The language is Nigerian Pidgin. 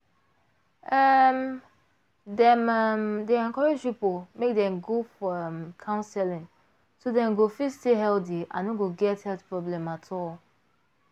um dem um dey encourage people make dem go for um counseling so dem go fit stay healthy and no go get health problem at all.